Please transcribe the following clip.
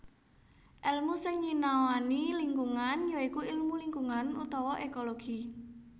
Èlmu sing nyinaoani lingkungan ya iku ilmu lingkungan utawa ékologi